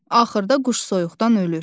Axırda quş soyuqdan ölür.